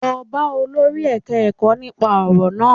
Lọ bá olórí ẹ̀ka-ẹkọ́ nípa ọ̀rọ̀ náà